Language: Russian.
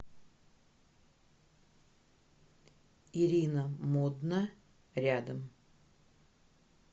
ирина модна рядом